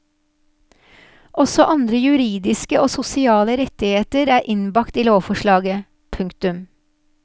Også andre juridiske og sosiale rettigheter er innbakt i lovforslaget. punktum